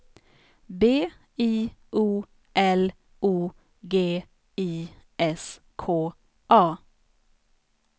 B I O L O G I S K A